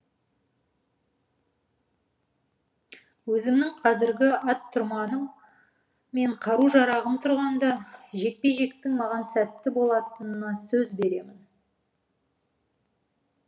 өзімнің қазіргі ат тұрманым мен қару жарағым тұрғанда жекпе жектің маған сәтті болатынына сөз беремін